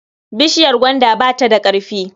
Bishiyar gwanda ba ta da ƙarfi.